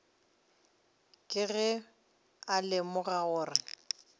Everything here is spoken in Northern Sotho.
ke ge a lemoga gore